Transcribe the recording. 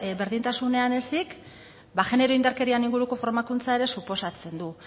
berdintasunean ezik ba genero indarkeriaren inguruko formakuntza ere suposatzen du